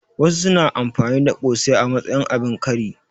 Wasu su na amfani da ƙosai a matsayin abin kari